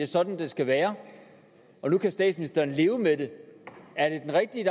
sådan det skal være og nu kan statsministeren leve med det er det den rigtige